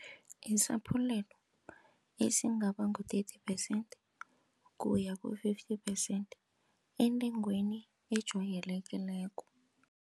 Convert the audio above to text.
Isaphulelo esingaba ngu-thirty phesenthi kuya ku-fifty percent entengweni ejwayelekileko.